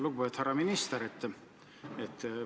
Lugupeetud härra minister!